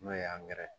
N'o ye ye